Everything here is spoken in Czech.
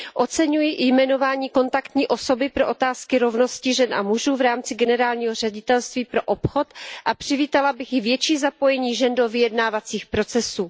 Oceňuji jmenování kontaktní osoby pro otázky rovnosti žen a mužů v rámci Generálního ředitelství pro obchod a přivítala bych i větší zapojení žen do vyjednávacích procesů.